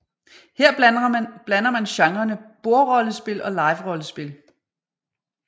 Her blander man genrene bordrollespil og liverollespil